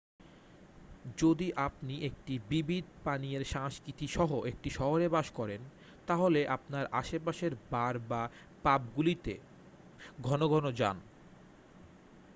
যদি আপনি একটি বিবিধ পানীয়ের সংস্কৃতি সহ একটি শহরে বাস করেন তাহলে আপনার আশেপাশের বার বা পাবগুলিতে ঘন ঘন যান